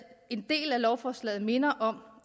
en del af lovforslaget minder om